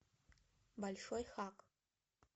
большой хак